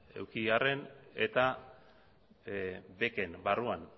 eduki arren eta beken barruan